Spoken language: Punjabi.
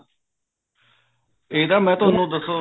ਇਹ ਤਾਂ ਮੈਂ ਤੁਹਾਨੂੰ ਦੱਸੋ